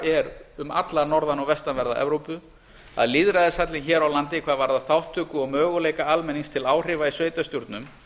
er um alla norðan og vestanverða evrópu að lýðræðishallinn hér á landi hvað varðar þátttöku og möguleika almennings til áhrifa í sveitarstjórnum